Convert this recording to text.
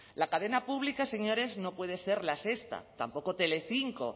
la cadena pública señores no puede ser la sexta tampoco telecinco